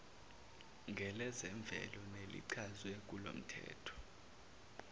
ngelezemvelo nelichazwe kulomthetho